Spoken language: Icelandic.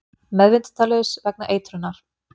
Meðvitundarlaus vegna eitrunar